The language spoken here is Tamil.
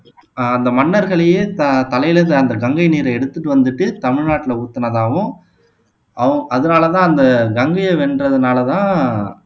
ஆஹ் அந்த மன்னர்களையே த தலையில அந்த கங்கை நீரை எடுத்துட்டு வந்துட்டு தமிழ்நாட்டுல ஊத்தினதாவும் அவ அதனாலதான் அந்த கங்கையை வென்றதுனால தான்